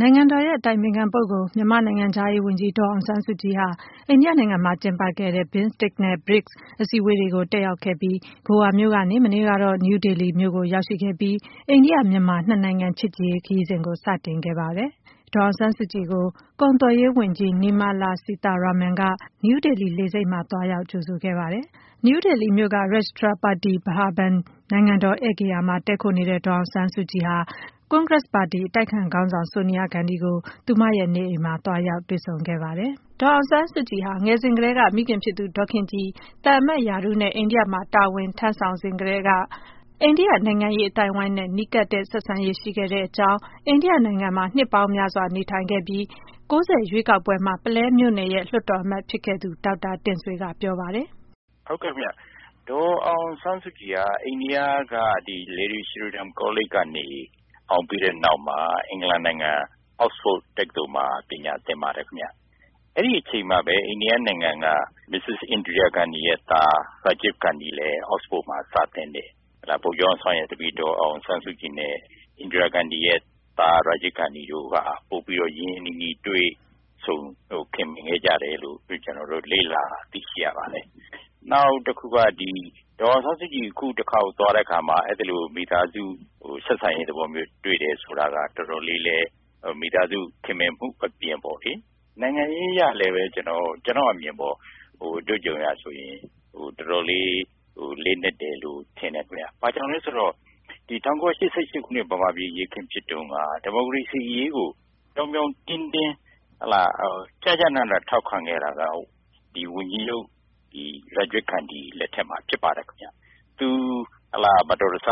နိုင်ငံတော်ရဲ့အတိုင်ပင်ခံပုဂ္ဂိုလ်၊ မြန်မာနိုင်ငံခြားရေးဝန်ကြီး ဒေါ် အောင်ဆန်းစုကြည်ဟာ အိန္ဒိယနိုင်ငံမှာကျင်းပခဲ့တဲ့ BIMSTEC နဲ့ BRICS အစည်းအဝေးတွေတက်ရောက်ခဲ့ပြီး ဂိုအာမြို့ကနေ မနေ့ကတော့ နယူးဒေလီမြို့ကို ရောက်ရှိခဲ့ပြီး အိန္ဒိယ-မြန်မာနှစ်နိုင်ငံ ချစ်ကြည်ရေး ခရီးစဉ်ကို စတင်ခဲ့ပြီဖြစ်ပါတယ်။ ဒေါ်အောင်ဆန်းစုကြည်ကို ကုန်သွယ်ရေးဝန်ကြီး Nirmala Sitharaman က နယူးဒေလီလေဆိပ်မှာ သွားရောက် ကြိုဆို ခဲ့ပါတယ်။ နယူးဒေလီမြို့ က Rashtrapati Bhavan နိုင်ငံတော်ဧည့်ဂေဟာမှာ တည်းခိုနေတဲ့ ဒေါ်အောင်ဆန်းစုကြည်ဟာ ကွန်ဂရက်စ်ပါတီ အတိုက်အခံခေါင်းဆောင် ဆိုနီယာဂန္ဒီကို သူမရဲ့နေအိမ်မှာ သွားရောက် တွေ့ဆုံ နှုတ်ဆက်ခဲ့ပါတယ်။ ဒီအကြောင်း မခွာညိုကပြောပြပေးမှာပါ။ ဒေါ်အောင်ဆန်းစုကြည်ငယ်စဉ်က မိခင်ဖြစ်သူဒေါ်ခင်ကြည် သံအမတ်ရာထူးနဲ့ အိန္ဒိယမှာ တာဝန်ထမ်းဆောင်စဉ်ကတည်းက အိန္ဒိယနိုင်ငံရေး အသိုင်းအဝိုင်းနဲ့ နီးကပ်တဲ့ ဆက်ဆံရေးရှိခဲ့တဲ့အကြောင်း အိန္ဒိယနိုင်ငံမှာ နှစ်ပေါင်းများစွာ နေထိုင်ခဲ့တဲ့ ၉၀ ရွေးကောက်ပွဲမှာ ပုလဲမြို့နယ်လွှတ်တော် အမတ်ဖြစ်ခဲ့သူ ဒေါက်တာ တင့်ဆွေက ပြောပါတယ်။ “ဒေါ်အောင်ဆန်းစုကြည်က အိန္ဒိယက Lady Shri Ram ကောလိပ် ကနေ အောင်ပြီးတဲ့နောက်မှာ အင်္ဂလန်နိုင်ငံ Oxford တက္ကသိုလ်မှာ ပညာသင်ပါ တယ်ခင်ဗျ။ အဲဒီအချိန်မှာပဲ အိန္ဒိယနိုင်ငံက မစ္စစ် Indira Gandhi ရဲ့သား Rajiv Gandhi လည်း Oxford မှာ ပညာသင်တယ်။ ဗိုလ်ချုပ်အောင်ဆန်းရဲ့သမီး ဒေါ်အောင်ဆန်းစုကြည်နဲ့ မစ္စစ် Indira Gandhi သား Rajiv Gandhi တို့က ပိုပြီးတော့ ရင်းရင်းနီးနီးတွေ့ဆုံ ခင်မင်ခဲ့ကြတယ်လို့ ကျနေ်ာတို့ လေ့လာတွေ့ရှိ ရပါတယ်။ နောက်တခုက ဒေါ်အောင်ဆန်းစုကြည်အခုတခေါက်သွားတဲ့အခါမှာ အဲဒီလို မိသားစု သဘောမျိုး ဆက်ဆံရေးတွေ့တယ်ဆိုတာက တော်တော် လေးလည်း မိသားစုခင်မင်မှုအပြင် နိုင်ငံရေးအရလည်း တော်တော်လေးလေးနက်တယ်လို့ မြင်တယ်ခင်ဗျ။ ဘာကြောင့်လဲ ဆိုတော့ ၁၉၈၈ ခုနှစ် မြန်မာပြည် အရေးအခင်းဖြစ်တုန်းက ဒီမိုကရေစီ အရေးကို ပြောင်ပြောင် တင်းတင်း ကျကျနန ထောက်ခံခဲ့တာက ဝန်ကြီးချုပ် ရာဂျစ်ဂန္ဒီလက်ထက်မှာ ဖြစ်ပါတယ်ခင်ဗျ။ သူ မတော်တဆ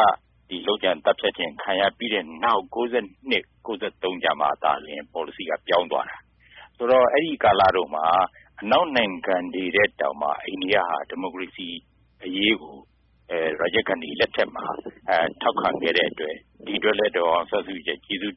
လုပ်ကြံသတ်ဖြတ်ခံရပြီးတဲ့နောက် ၉၂- ၉၃ မှသာလျှင် ပေါ်လစီက ပြောင်း သွားတာ။ ဆိုတော့... အဲဒီကာလတုန်းက အနောက်နိုင်ငံတွေထက်တောင်မှ အိန္ဒိယက ဒီမိုကရေစီအရေးကို ရာဂျစ်ဂန္ဒီလက်ထက်မှာ ထောက်ခံခဲ့တဲ့အတွက် ဒီအတွက်လည်း ဒေါ်အောင်ဆန်းစုကြည်က ကျေးဇူး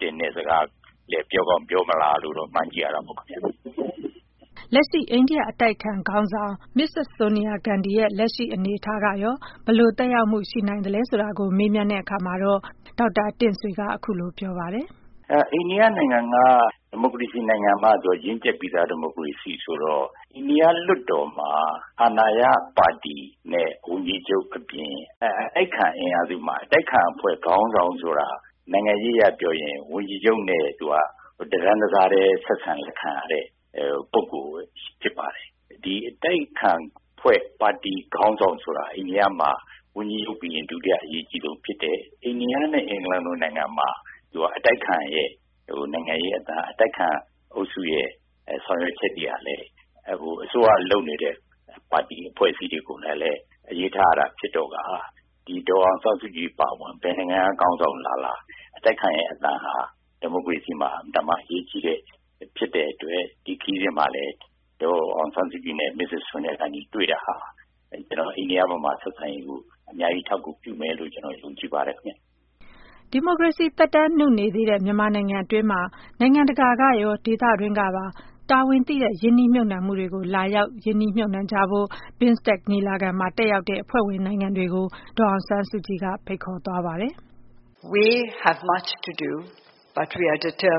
တင်တဲ့အကြောင်း ပြောကောင်းပြောမလားလို့ မှန်းကြည့်ရတာပေါ့ခင်ဗျ။” လက်ရှိ အိန္ဒိယအတိုက်အခံခေါင်းဆောင် မစ္စစ်ဆိုနီယာဂန္ဒီရဲ့ လက်ရှိ အနေအထားအရရော ဘယ်လို သက်ရောက်မှု ရှိနိုင်သလဲဆိုတာကို မေးမြန်းကြည့်တဲ့အခါမှာတော့ ဒေါက်တာ တင့်ဆွေက အခုလို ပြောပါတယ်။ “အိန္ဒိယနိုင်ငံက ဒီမိုကရေစီနိုင်ငံမှာတောင်မှ ရင့်ကျက်ပြီးသား ဒီမိုကရေစီနိုင်ငံဆိုတော့ အိန္ဒိယ လွှတ်တော်မှာ အာဏာရပါတီနဲ့ ဝန်ကြီးချုပ်အပြင် အတိုက်အခံအင်အားစုမှာ အတိုက်အခံ ခေါင်းဆောင်ဆိုတဲ့ နိုင်ငံရေးအရပြောရင် ဝန်ကြီးချုပ်နဲ့ တတန်းထဲ ဆက်ဆံခံရတဲ့ ပုဂ္ဂိုလ်ဖြစ်ပါတယ်။ ဒီအတိုက်အခံအဖွဲ့ ပါတီခေါင်းဆောင်ဆိုတာ ဝန်ကြီးချုပ်ပြီးရင် ဒုတိယ အရေးအကြီးဆုံးဖြစ်တယ်။ အိန္ဒိယနဲ့ အင်္ဂလန်နိုင်ငံမှာ အတိုက်အခံရဲ့အသံက အတိုက်အခံအုပ်စုရဲ့ ဆောင်ရွက်ချက်တွေဟာလည်း အစိုးရလုပ်နေတဲ့ ပါတီအဖွဲ့အစည်းတွေလည်း အလေးထားရတာဖြစ်တဲ့အခါ ဒေါ်အောင်ဆန်းစုကြည် အပါအဝင် ဘယ်နိုင်ငံက ခေါင်းဆောင်လာလာ၊ အတိုက်အခံရဲ့အသံဟာ ဒီမိုကရေစီနိုင်ငံမှာ အရေးကြီးတဲ့အတွက် ဒီခရီးစဉ်မှာလည်း ဒေါ်အောင်ဆန်း စုကြည်နဲ့ မစ္စစ်ဆိုနီယာဂန္ဒီ တွေ့တာဟာ အိန္ဒိယ- မြန်မာဆက်ဆံရေးကို အများကြီးအထောက်အကူပြုမယ်လို့ ကျနော် ယုံကြည်ပါတယ် ခင်ဗျ။” ဒီမိုကရေစီသက်တမ်းနုနေသေးတဲ့ မြန်မာနိုင်ငံအတွင်းမှာ နိုင်ငံတကာကရော၊ ဒေသတွင်းကပါ တာဝန်သိတဲ့ ရင်းနှီးမြှုပ်နှံမှုတွေကို လာရောက် ရင်းနှီး မြှုပ်နှံကြဖို့ BIMSTEC ညီလာခံမှာ တက်ရောက်လာကြတဲ့ အဖွဲ့ဝင်နိုင်ငံတွေကို ဒေါ်အောင်ဆန်းစုကြည်က ဖိတ်ခေါ်သွားပါတယ်။ “ကျ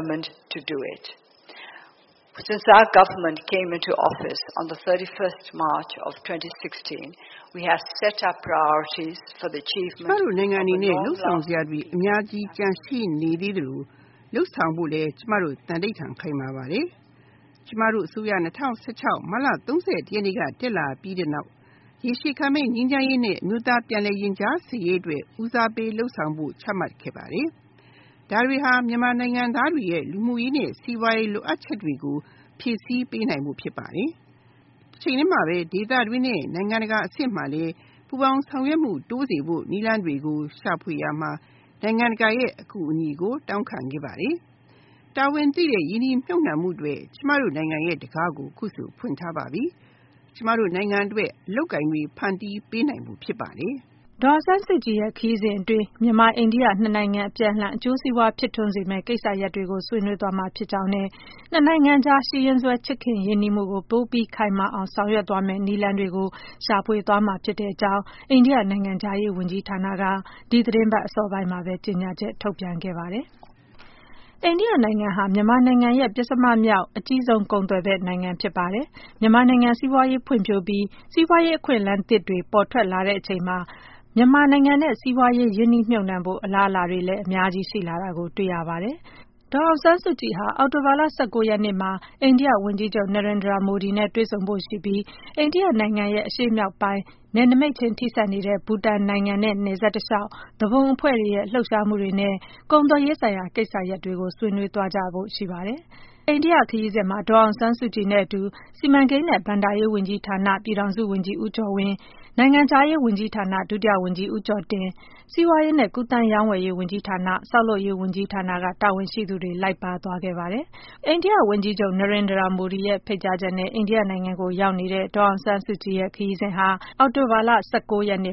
မတို့ နိုင်ငံအနေနဲ့ လုပ်ဆောင်စရာတွေအများကြီးကျန်ရှိနေသေးသလို လုပ်ဆောင်ဖို့လည်း သံဓိဌာန် ခိုင်မာပါတယ်။ ကျမတို့အစိုးရ ၂၀၁၆မတ်လ၃၁ ရက်နေ့က တက်လာပြီးတဲ့နောက် ရေရှည်ခံတဲ့အမျိုးသားပြန်လည် ရင်ကြားစေ့ရေးအတွက် ဦးစားပေးလုပ်ဆောင်ဖို့ ချမှတ်ခဲ့ပါတယ်။ ဒါတွေက မြန်မာ နိုင်ငံသားတွေရဲ့ လူမှုရေးနဲ့ စီးပွားရေးလိုအပ်ချက်တွေကို ဖြည့်စီးပေးနိုင်ဖို့ ဖြစ်ပါတယ်။ တချိန်တည်းမှာပဲ ဒေသအတွင်းနဲ့ နိုင်ငံတကာ အဆင့်မှာလည်း ပူးပေါင်းဆောင်ရွက်မှုတိုးစေဖို့ နည်းလမ်းတွေကို ရှာဖွေရာမှာ နိုင်ငံတကာရဲ့ အကူအညီကို တောင်းခံခဲ့ပါတယ်။ တာဝန်သိတဲ့ ရင်းနှီးမြုပ်နှံမှု အတွက် ကျမတို့ နိုင်ငံ တံခါးကို အခုဆို ဖွင့်ထားပါပြီ။ ကျမတို့ နိုင်ငံအတွက် အလုပ်အကိုင်တွေဖန်တီးပေးနိုင်ဖို့ ဖြစ်ပါတယ်။” ဒေါ်အောင်ဆန်းစုကြည်ရဲ့ ခရီးစဉ်အတွင်းမှာ မြန်မာ-အိန္ဒိယ နှစ်နိုင်ငံ အပြန်အလှန် အကျိုးစီးပွားဖြစ်ထွန်းစေမယ့်ကိစ္စရပ်တွေကို ဆွေးနွေး သွားမှာ ဖြစ်ကြောင်းနဲ့ နှစ်နိုင်ငံကြား ရှိရင်းစွဲ ချစ်ခင်ရင်းနှီးမှုကို ပိုပြီး ခိုင်မာအောင်ဆောင်ရွက်သွားနိုင်မယ့် နည်းလမ်းတွေကိုလည်း ရှာဖွေသွားမှာဖြစ်ကြောင်း အိန္ဒိယနိုင်ငံခြားရေးဝန်ကြီးဌာနက ဒီသီတင်းပတ်အစောပိုင်းမှာ ကြေညာချက်ထုတ်ပြန်ခဲ့ပါတယ်။ အိန္ဒိယဟာ မြန်မာနိုင်ငံရဲ့ ပဉ္စမမြောက် အကြီးဆုံး ကုန်သွယ်ဘက် နိုင်ငံဖြစ်ပါတယ်။ မြန်မာနိုင်ငံ စီးပွားရေးဖွံ့ဖြိုးပြီး စီးပွားရေး အခွင့်အလမ်းသစ်တွေ ပေါ်ထွက်လာချိန်မှာ မြန်မာနိုင်ငံနဲ့ စီးပွားရေးရင်းနှီးမြှုပ်နှံဖို့ အလားအလာတွေ အများကြီးရှိလာတာကို တွေ့ရပါတယ်။ ဒေါ်အောင်ဆန်းစုကြည်ဟာ အောက်တိုဘာလ ၁၉ ရက် နေ့မှာ အိန္ဒိယ ဝန်ကြီးချုပ် Narendra Modi နဲ့တွေ့ဆုံဖို့ရှိပြီး အိန္ဒိယအရှေ့မြောက်ပိုင်းမှာ နယ်နိမိတ်ချင်း ထိစပ်နေတဲ့ ဘူတန်နဲ့ နယ်စပ်တလျှောက် သူပုန်အဖွဲ့တွေရဲ့ လှုပ်ရှားမှုတွေနဲ့ ကုန်သွယ်ရေးဆိုင်ရာကိစ္စရပ်တွေကို ဆွေးနွေးကြဖွယ် ရှိပါတယ်။ အိန္ဒိယခရီးစဉ်မှာ ဒေါ်အောင်ဆန်းစုကြည်နဲ့အတူ စီမံကိန်းနဲ့ ဘဏ္ဍာရေးဝန်ကြီးဌာန ပြည်ထောင်စုဝန်ကြီး ဦးကျော်ဝင်း၊ နိုင်ငံခြားရေးဝန်ကြီးဌာန ဒုတိယ ဝန်ကြီးဦးကျော်တင်၊ စီးပွားရေးနဲ့ ကူးသန်းရောင်းဝယ်ရေး ဝန်ကြီးဌာန၊ ဆောက်လုပ်ရေးဝန်ကြီးဌာနက တာဝန်ရှိသူတွေ လိုက်ပါသွားခဲ့ပါတယ်။ အိန္ဒိယဝန်ကြီးချုပ် Narendra Modi ရဲ့ ဖိတ်ကြားချက်နဲ့ အိန္ဒိယကိုရောက်နေတဲ့ ဒေါ်အောင်ဆန်းစုကြည်ရဲ့ ခရီးစဉ်ဟာ အောက်တိုဘာလ ၁၆ ရက်နေ့